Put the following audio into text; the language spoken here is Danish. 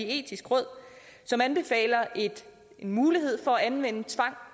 etiske råd som anbefaler muligheden for at anvende tvang